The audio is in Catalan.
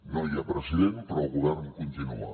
no hi ha president però el govern continua